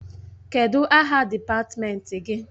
Kedụ aha dịpatmenti gị?